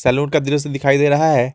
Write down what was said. Salon का दृश्य दिखाई दे रहा है।